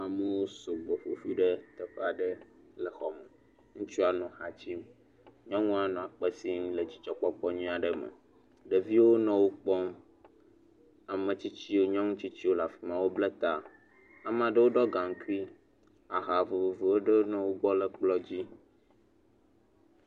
Amewo sugbɔ ƒoƒu ɖe teƒe aɖe le xɔme, ŋutsua nɔ ha dzi nyɔnua nɔ akpe sim le dzidzɔkpɔkpɔ nyui aɖe me, ɖeviwo nɔ wo kpɔm, ame tsitsi nyɔnutsitsiwo le afi ma wo bla ta ame aɖewo ɖɔ gaŋkui aha vovovo aɖewo nɔ wo gbɔ le kplɔ dzi.